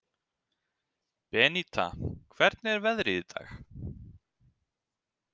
Beníta, hvernig er veðrið í dag?